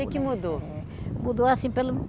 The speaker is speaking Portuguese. O que que mudou? Mudou assim pelo